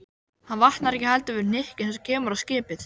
Hann vaknar ekki heldur við hnykkinn sem kemur á skipið.